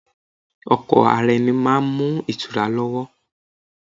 Ọkọ ara ẹni máa ń mú ìtura lọ́wọ́.